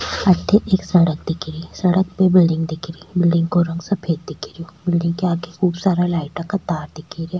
अठे एक सड़क दिखे री सड़क पे बिलडिंग दिखे री बिलडिंग को रंग सफ़ेद दिखे रिहो बिलडिंग के आगे खूब सारा लाइटा का तार दिखे रा।